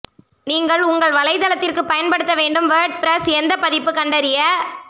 நீங்கள் உங்கள் வலைத்தளத்திற்கு பயன்படுத்த வேண்டும் வேர்ட்பிரஸ் எந்த பதிப்பு கண்டறிய